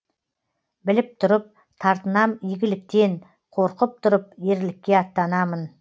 біліп тұрып тартынам игіліктен қорқып тұрып ерлікке аттанамын